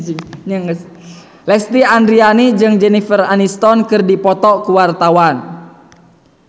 Lesti Andryani jeung Jennifer Aniston keur dipoto ku wartawan